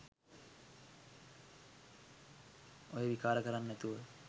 ඔය විකාර කරන් නැතුව